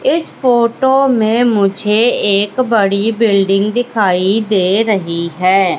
इस फोटो में मुझे एक बड़ी बिल्डिंग दिखाई दे रही है।